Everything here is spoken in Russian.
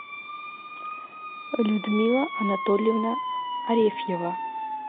людмила анатольевна арефьева